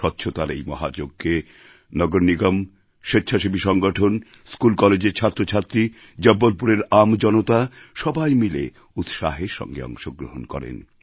স্বচ্ছতার এই মহাযজ্ঞে নগরনিগম স্বেচ্ছাসেবী সংগঠন স্কুলকলেজের ছাত্রছাত্রী জব্বলপুরের আম জনতা সবাই মিলে উৎসাহের সঙ্গে অংশগ্রহণ করেন